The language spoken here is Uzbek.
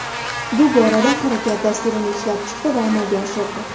Bu borada Harakat dasturini ishlab chiqdi va amalga oshirdi.